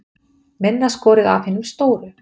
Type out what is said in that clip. Minna skorið af hinum stóru